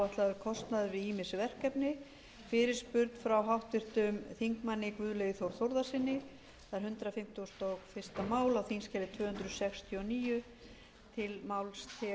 virðulegi forseti ég er enn og aftur í stjórnarsáttmálanum eins og ég er búinn að vera í dag og ég